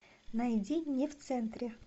найди не в центре